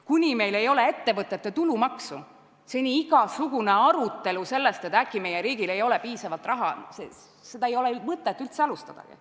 Kuni meil ei ole ettevõtete tulumaksu, siis ei ole mingit arutelu selle üle, et äkki meie riigil ei ole piisavalt raha, mõtet üldse alustadagi.